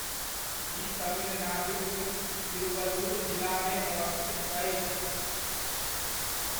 ई तमिलनाडुक तिरुवल्लुर जिलामे अवस्थित अछि।